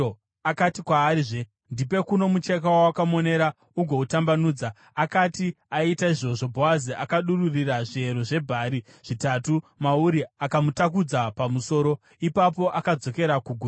Akati kwaarizve, “Ndipe kuno mucheka wawakamonera ugoutambanudza.” Akati aita izvozvo, Bhoazi akadururira zviyero zvebhari zvitanhatu mauri akamutakudza pamusoro. Ipapo akadzokera kuguta.